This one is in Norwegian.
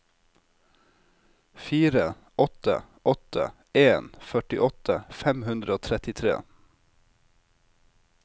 fire åtte åtte en førtiåtte fem hundre og trettitre